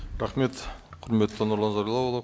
рахмет құрметті нұрлан зайроллаұлы